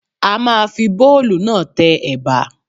A ma fi bóòlù náà tẹ Ẹ̀bà.